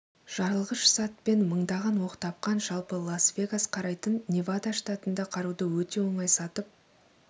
жарылғыш зат пен мыңдаған оқ тапқан жалпы лас-вегас қарайтын невада штатында қаруды өте оңай сатып